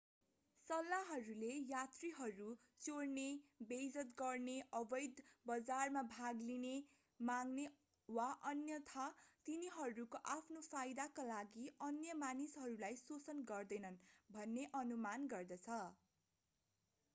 सल्लाहले यात्रीहरू चोर्ने बेइज्जत गर्ने अवैध बजारमा भाग लिने माग्ने वा अन्यथा तिनीहरूको आफ्नै फाइदाका लागि अन्य मानिसहरूलाई शोषण गर्दैनन् भन्ने अनुमान गर्दछ